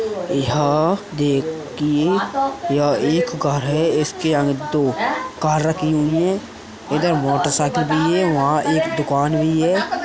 यहाँ देखिए यह एक घर है इसके आगे दो कार रखी हुई हैं इधर मोटरसाइकिल भी है वहाँ एक दुकान भी है।